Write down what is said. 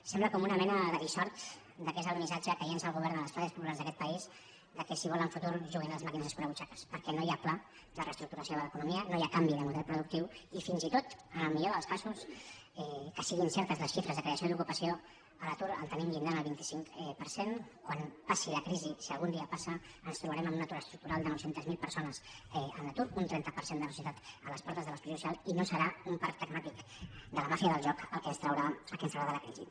sembla com una mena de dissort que és el missatge que llença el govern a les classes populars d’aquest país que si volen futur juguin a les màquines escurabutxaques perquè no hi ha pla de reestructuració de l’economia no hi ha canvi de model productiu i fins i tot en el millor dels casos que siguin certes les xifres de creació d’ocupació l’atur el tenim al llindar del vint cinc per cent quan passi la crisi si algun dia passa ens trobarem amb un atur estructural de nou cents miler persones en l’atur un trenta per cent de la societat a les portes de l’exclusió social i no serà un parc temàtic de la màfia del joc el que ens traurà de la crisi